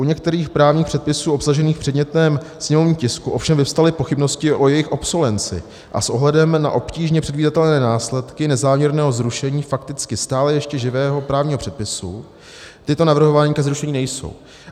U některých právních předpisů obsažených v předmětném sněmovním tisku ovšem vyvstaly pochybnosti o jejich obsolenci a s ohledem na obtížně předvídatelné následky nezáměrného zrušení fakticky stále ještě živého právního předpisu tyto navrhovány ke zrušení nejsou.